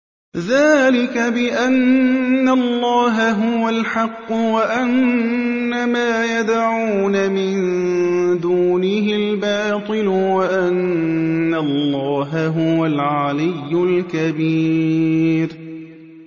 ذَٰلِكَ بِأَنَّ اللَّهَ هُوَ الْحَقُّ وَأَنَّ مَا يَدْعُونَ مِن دُونِهِ الْبَاطِلُ وَأَنَّ اللَّهَ هُوَ الْعَلِيُّ الْكَبِيرُ